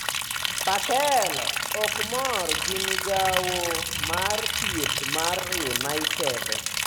Patel ok mor gi migawo mar thieth mar United